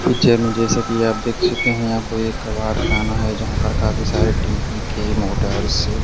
picture में जैसा कि आप देख सकते हैं यहां कोई एक कबाड़खाना है जहां पर काफी सारे टी_पी_के मोटर्स --